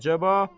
Əcəba.